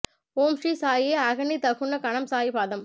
ஓம் ஸ்ரீ சாயி அகனிதகுணகணம் சாயி பாதம்